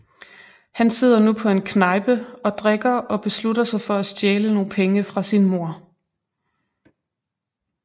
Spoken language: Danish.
Han sidder nu på en knejpe og drikker og beslutter sig for at stjæle nogle penge fra sin mor